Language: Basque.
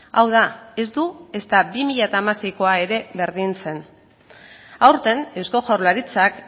hau da ez du ezta bi mila hamaseikoa ere berdintzen aurten eusko jaurlaritzak